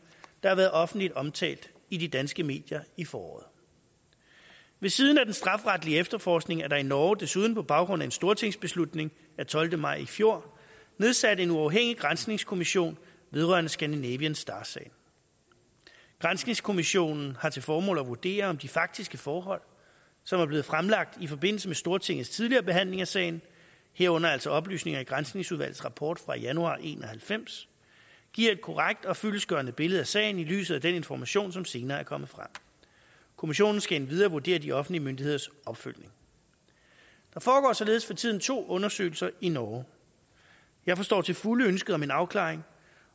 der har været offentligt omtalt i de danske medier i foråret ved siden af den strafferetlige efterforskning er der i norge desuden på baggrund af en stortingsbeslutning af tolvte maj i fjor nedsat en uafhængig granskningskommission vedrørende scandinavian star sagen granskningskommissionen har til formål at vurdere om de faktiske forhold som er blevet fremlagt i forbindelse med stortingets tidligere behandling af sagen herunder altså oplysninger i granskningsudvalgets rapport fra januar nitten en og halvfems giver et korrekt og fyldestgørende billede af sagen i lyset af den information som senere er kommet frem kommissionen skal endvidere vurdere de offentlige myndigheders opfølgning der foregår således for tiden to undersøgelser i norge jeg forstår til fulde ønsket om en afklaring